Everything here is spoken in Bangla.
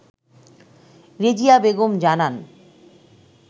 রেজিয়া বেগম জানান